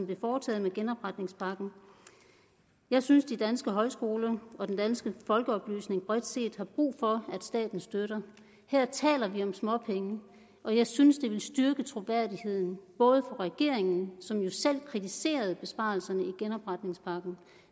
blev foretaget med genopretningspakken jeg synes de danske højskoler og den danske folkeoplysning bredt set har brug for statens støtte her taler vi om småpenge og jeg synes at det vil styrke troværdigheden både regeringens som jo selv kritiserede besparelserne i genopretningspakken